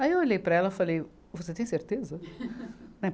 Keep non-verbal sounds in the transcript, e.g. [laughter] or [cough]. Aí eu olhei para ela e falei, você tem certeza? [laughs]